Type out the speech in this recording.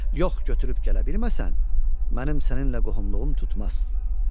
Yox götürüb gələ bilməsən, mənim səninlə qohumluğum tutmaz."